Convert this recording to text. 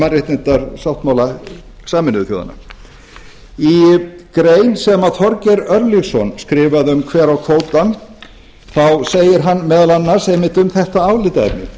mannréttindasáttmála sameinuðu þjóðanna í grein sem þorgeir örlygsson skrifaði um hver á kvótann þá segir hann meðal annars einmitt um þetta